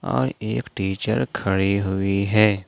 एक टीचर खड़ी हुई है।